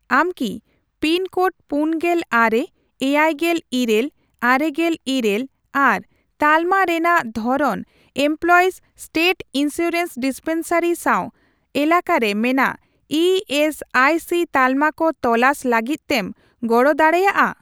ᱟᱢ ᱠᱤ pin code ᱯᱩᱱᱜᱮᱞ ᱟᱨᱮ ,ᱮᱭᱟᱭᱜᱮᱞ ᱤᱨᱟᱹᱞ ,ᱟᱨᱮᱜᱮᱞ ᱤᱨᱟᱹᱞ ᱟᱨ ᱛᱟᱞᱢᱟ ᱨᱮᱱᱟᱜ ᱫᱷᱚᱨᱚᱱ ᱮᱢᱯᱞᱚᱭᱤᱥ ᱥᱴᱮᱴ ᱤᱱᱥᱩᱨᱮᱱᱥ ᱰᱤᱥᱯᱮᱱᱥᱟᱨᱤ ᱥᱟᱣ ᱮᱞᱟᱠᱟᱨᱮ ᱢᱮᱱᱟᱜ ᱤ ᱮᱥ ᱟᱭ ᱥᱤ ᱛᱟᱞᱢᱟ ᱠᱚ ᱛᱚᱞᱟᱥ ᱞᱟᱹᱜᱤᱫ ᱛᱮᱢ ᱜᱚᱲᱚ ᱫᱟᱲᱮᱭᱟᱜᱼᱟ ?